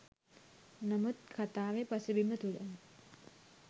නමුත් කතාවේ පසුබිම තුළ